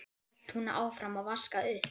Svo hélt hún áfram að vaska upp.